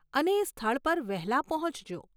અને એ સ્થળ પર વહેલા પહોંચજો.